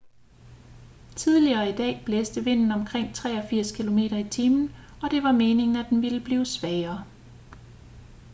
tidligere i dag blæste vinden omkring 83 km/t og det var meningen at den ville blive svagere